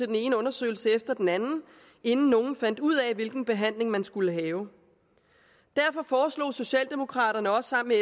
den ene undersøgelse efter den anden inden nogen fandt ud af hvilken behandling man skulle have derfor foreslog socialdemokraterne også sammen